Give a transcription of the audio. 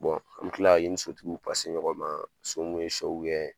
an bi kila ka i ni so tikiw ɲɔgɔn ma ,so mun ye kɛ